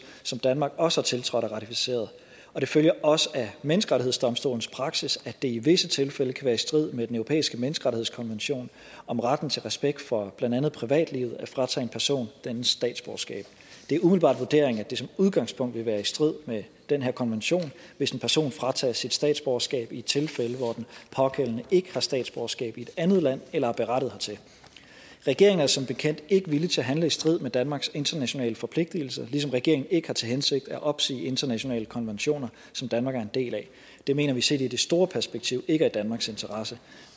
som danmark også har tiltrådt og ratificeret og det følger også af menneskerettighedsdomstolens praksis at det i visse tilfælde kan være i strid med den europæiske menneskerettighedskonvention om retten til respekt for blandt andet privatliv at fratage en person dennes statsborgerskab det er umiddelbart vurderingen at det som udgangspunkt vil være i strid med den her konvention hvis en person fratages sit statsborgerskab i et tilfælde hvor den pågældende ikke har statsborgerskab i et andet land eller er berettiget hertil regeringen er som bekendt ikke villig til at handle i strid med danmarks internationale forpligtelser ligesom regeringen ikke har til hensigt at opsige internationale konventioner som danmark er en del af det mener vi set i det store perspektiv ikke er i danmarks interesse